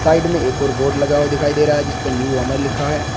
Side में एक और बोर्ड लगा हुआ दिखाई दे रहा है जिस पे न्यू अमर लिखा है।